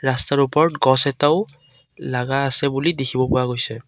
ৰাস্তাটোৰ ওপৰত গছ এটাও লাগা আছে বুলি দেখিব পৰা গৈছে।